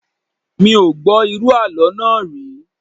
Mi ò gbọ́ irú àlọ́ náà rí